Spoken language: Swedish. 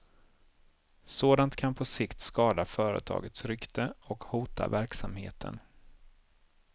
Sådant kan på sikt skada företagets rykte och hota verksamheten.